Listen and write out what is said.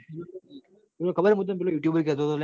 અલ્યા મુતન પેલો youtube બર કેતો લાયા